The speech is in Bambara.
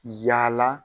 Yaala